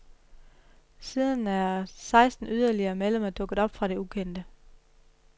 Siden er seksten yderligere medlemmer dukket op fra det ukendte.